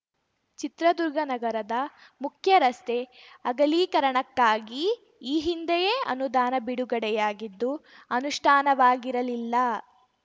ಚಿತ್ರದುರ್ಗ ನಗರದ ಮುಖ್ಯರಸ್ತೆಅಗಲೀಕರಣಕ್ಕಾಗಿ ಈ ಹಿಂದೆಯೇ ಅನುದಾನ ಬಿಡುಗಡೆಯಾಗಿದ್ದು ಅನುಷ್ಠಾನವಾಗಿರಲಿಲ್ಲ